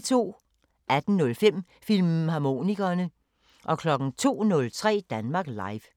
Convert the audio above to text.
18:05: Filmharmonikerne 02:03: Danmark Live